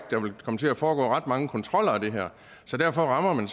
der vil komme til at foregå ret mange kontroller af det her derfor rammer man